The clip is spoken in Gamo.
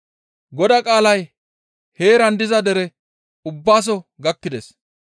Godaa qaalay heeran diza dere ubbaso gakkides.